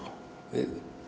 við